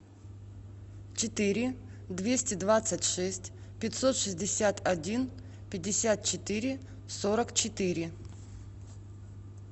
четыре двести двадцать шесть пятьсот шестьдесят один пятьдесят четыре сорок четыре